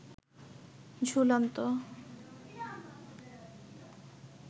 ঝুলন্ত